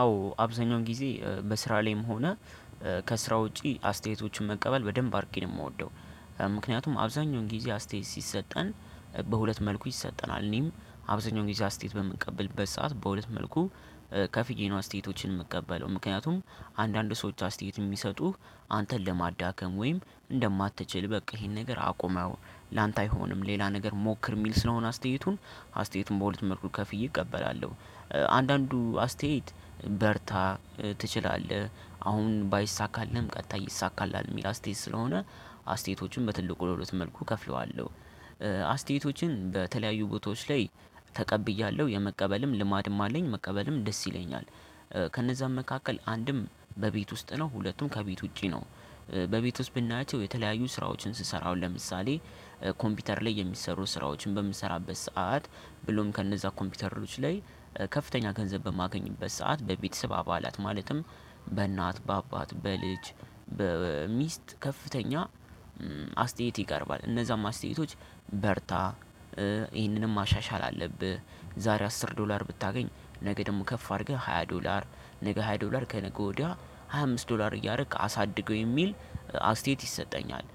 አዎ አብዛኛውን ጊዜ በስራ ላይም ሆነ ከስራ ውጪ አስተያየቶችን መቀበል በደንብ አርጌ የምወደው ምክንያቱም አብዛኛውን ጊዜ አስተያየት ሲሰጠን በሁለት መልኩ ይሰጠናል እኔም አብዛኛው ጊዜ አስተያየት በምቀበልበት ሰዓት በሁለት መልኩ ከፍዬ አስተያየቶችን የምቀበለው ምክንያቱም አንዳንድ ሰዎች አስተያየት የሚሰጡህ አንተን ለማዳከም ወይም እንደማትችል በቃ ይሄን ነገር አቁመው ላንተ አይሆንም ሌላ ነገር ሞክር የሚል ስለሆነ አስተያየቱን አስተያየቱን በሁለት መልኩ ከፍዬ እቀበላለሁ። አንዳንዱ አስተያየት በርታ ትችላለህ አሁን ባይሳካልህም ቀጣይ ይሳካልሃል የሚል አስተያየት ስለሆነ አስተያየቶችን በትልቁ ለሁለት መልኩ ከፍለዋለሁ። አስተያየቶችን በተለያዩ ቦታዎች ላይ ተቀብያለሁ የመቀበልም ልማድም አለኝ መቀበልም ደስ ይለኛል። ከነዛም መካከል አንድም በቤት ውስጥ ነው ሁለቱም ከቤት ውጪ ነው። በቤት ውስጥ ብናያቸው የተለያዩ ስራዎችን ስሰራ አሁን ለምሳሌ ኮምፒውተር ላይ የሚሰሩ ስራዎችን በምሰራበት ሰዓት ብሎም ከነዛ ኮምፒውተሮች ላይ ከፍተኛ ገንዘብ በማገኝበት ሰዓት በቤተሰብ አባላት ማለትም በእናት በአባት በልጅ በሚስት ከፍተኛ አስተያየት ይቀርባል እነዛም አስተያየቶች። በርታ ይህንንም ማሻሻል አለብህ ዛሬ አስር ዶላር ብታገኝ ነገ ደግሞ ከፍ አድርገህ ሃያ ዶላር ነገ ሃያ ዶላር ከነገ ወዲያ ሃያ አምስት ዶላር እያረክ አሳድገው የሚል አስተያየት ይሰጠኛል።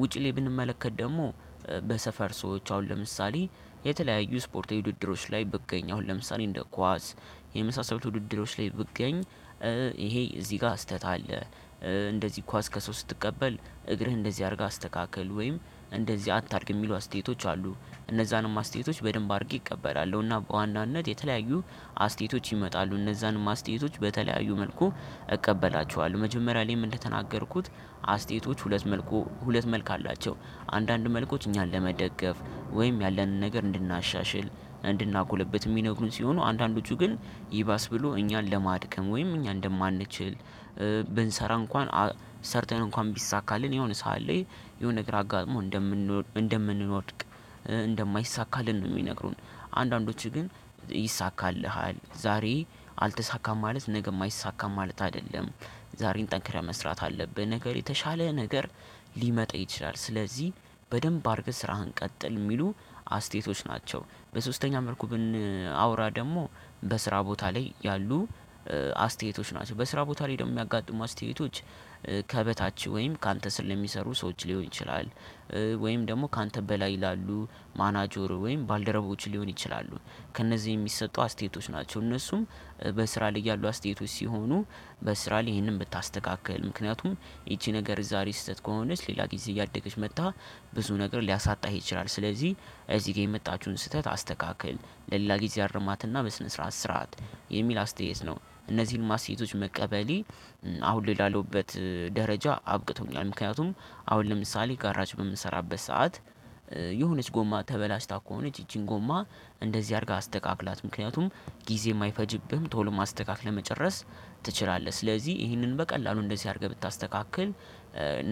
ውጪ ላይ ብንመለከት ደግሞ በሰፈር ሰዎች አሁን ለምሳሌ የተለያዩ ስፖርታዊ ውድድሮች ላይ ብገኝ አሁን ለምሳሌ እንደ ኳስ የመሳሰሉት ውድድሮች ላይ ብገኝ ይሄ እዚህ ጋር ስህተት አለ። እንደዚህ ኳስ ከሰው ስትቀበል እግርህ እንደዚህ አድርገህ አስተካክል ወይም እንደዚህ አታድግ የሚሉ አስተያየቶች አሉ እነዛንም አስተያየቶች በደንብ አድርጌ እቀበላለሁ። እና በዋናነት የተለያዩ አስተያየቶች ይመጣሉ እነዛንም አስተያየቶች በተለያዩ መልኩ እቀበላቸዋለሁ መጀመሪያ ላይም እንደተናገርኩት አስተያየቶች ሁለት መልኩ ሁለት ክልኩ አላቸው። አንዳንድ መልኩ እኛን ለመደገፍ ወይም ያለንን ነገር እንድናሻሽል እንድናጉለብት የሚነግሩን ሲሆኑ አንዳንዶቹ ግን ይባስ ብሎ እኛን ለማድከም ወይም እኛ እንደማንችል ብንሰራ እንኳን ሰርተን እንኳን ቢሳካልን የሆነ ሰዓት ላይ የሆነ ነገር አጋጥሞን እንደምንወድቅ እንደማይሳካልን ነው የሚነግሩን። አንዳንዶች ግን ይይሳካልሃል ዛሬ አልተሳካም ማለት ነገም አይሳካም ማለት አይደለም። ዛሬን ጠንክረህ መስራት አለብህ ነገር የተሻለ ነገር ሊመጣ ይችላል ስለዚህ በደንብ አርገህ ስራህን ቀጥል የሚሉ አስተያየቶች ናቸው። በሶስተኛ መልኩ ብንናወራ ደግሞ በስራ ቦታ ላይ ያሉ አስተያየቶች ናቸው። በስራ ቦታ ላይ ደግሞ የሚያጋጥሙ አስተያየቶች ከበታች ወይም ካንተ ስር ለሚሰሩ ሰዎች ሊሆን ይችላል። ወይም ደግሞ ካንተ በላይ ላሉ ማናጀሩ ወይም ባልደረቦች ሊሆን ይችላሉ። ከእነዚህ የሚሰጡ አስተያየቶች ናቸው እነሱም በስራ ላይ ያሉ አስተያየቶች ሲሆኑ በስራ ላይ ይሄንን ብታስተካክል ምክንያቱም ይቺ ነገር ዛሬ ስህተት ከሆነች ሌላ ጊዜ እያደገች መጥታ ብዙ ነገር ሊያሳጣህ ይችላል። ስለዚህ እዚህ ጋር የመጣችሁን ስህተት አስተካክል ለሌላ ጊዜ አርማትና በስነ ስርዓት ስራት የሚል አስተያየት ነው። እነዚህንም አስተያየቶች መቀበሌ አሁን ላይ ላለሁበት ደረጃ አብቅቶኛል። ምክንያቱም አሁን ለምሳሌ ጋራጅ በምንሰራበት ሰዓት የሆነች ጎማ ተበላሽታ ከሆነች ይቺን ጎማ እንደዚህ አርገህ አስተካክላት ምክንያቱም ጊዜም አይፈጅብህም ቶሎም አስተካክለህ መጨረስ ትችላለህ። ስለዚህ ይህንን በቀላሉ እንደዚህ አድርገህ ብታስተካክል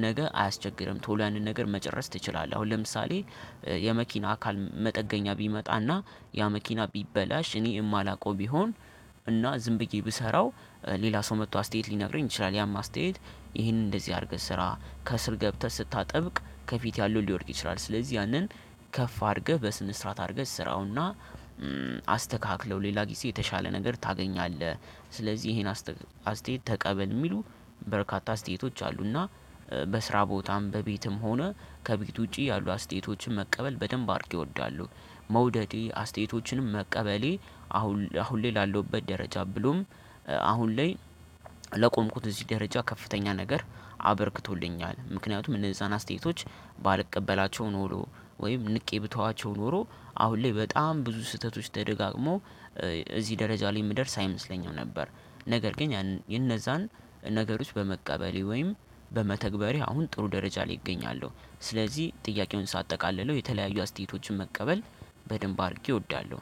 ነገ አያስቸግርም ቶሎ ያንን ነገር መጨረስ ትችላለህ። አሁን ለምሳሌ የመኪና አካል መጠገኛ ቢመጣና ያ መኪና ቢበላሽ እኔ የማላውቀው ቢሆን እና ዝም ብዬ ብሰራው ሌላ ሰው መጥቶ አስተያየት ሊነግረኝ ይችላል ያም አስተያየት ይሄንን እንደዚህ አድርገህ ስራ ከስር ገብተህ ስታጠብቅ ከፊት ያለው ሊወድቅ ይችላል። ስለዚህ ያንን ከፍ አድርገህ በስነ ስርዓት አድርገህ ስራውና አስተካክለው ሌላ ጊዜ የተሻለ ነገር ታገኛለህ። ስለዚህ ይሄን አስተያየት ተቀበል የሚሉ በርካታ አስተያየቶች አሉና በስራ ቦታም በቤትም ሆነ ከቤት ውጪ ያሉ አስተያየቶችን መቀበል በደንብ አድርጌ እወዳለሁ። መውደዴ አስተያየቶችንም መቀበሌ አሁን ላይ ላለሁበት ደረጃ ብሎም አሁን ላይ ለቆምኩት እዚህ ደረጃ ከፍተኛ ነገር አበርክቶልኛል። ምክንያቱም እነዛን አስተያየቶች ባልቀበላቸው ኖሮ ወይም ንቄ ብተዋቸው ኖሮ አሁን ላይ በጣም ብዙ ስህተቶች ተደጋግሞ እዚህ ደረጃ ላይ የምደርስ አይመስለኝም ነበር። ነገር ግን የነዛን ነገሮች በመቀበሌ ወይም በመተግበሬ አሁን ጥሩ ደረጃ ላይ እገኛለሁ። ስለዚህ ጥያቄውን ሳጠቃለለው የተለያዩ አስተያየቶችን መቀበል በደንብ አድርጌ እወዳለሁ